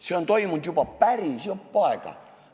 See on kestnud juba päris jupp aega.